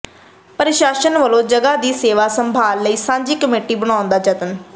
ਪ੍ਰਸ਼ਾਸਨ ਵੱਲੋਂ ਜਗ੍ਹਾ ਦੀ ਸੇਵਾ ਸੰਭਾਲ ਲਈ ਸਾਂਝੀ ਕਮੇਟੀ ਬਣਾਉਣ ਦੇ ਯਤਨ